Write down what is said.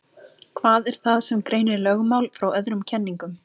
Hvað er það sem greinir lögmál frá öðrum kenningum?